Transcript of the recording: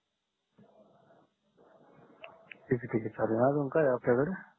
ठीक आहे ठीक आहे चालेल आणि अजून काय आहे आपल्या कडे